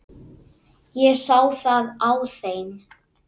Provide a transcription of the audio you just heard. Ég sá það á þeim.